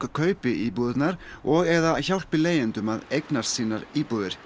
kaupi íbúðirnar og eða hjálpi leigjendum að eignast sínar íbúðir